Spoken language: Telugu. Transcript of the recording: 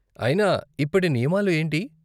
అయినా ఇప్పటి నియామాలు ఏంటి?